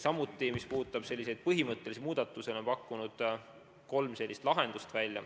Mis puudutab põhimõttelisi muudatusi, siis oleme pakkunud kolme lahendust.